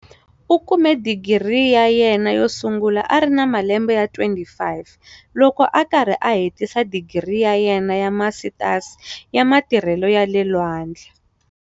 U kume Digiri ya yena yo sungula a ri na malembe ya 25, loko a karhi a hetisa digiri ya yena ya Masitasi ya Matirhelo ya le Lwandle.